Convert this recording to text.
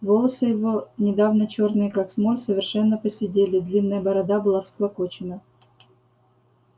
волосы его недавно чёрные как смоль совершенно поседели длинная борода была всклокочена